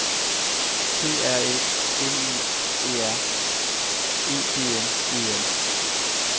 P R Æ M I E R E G N E N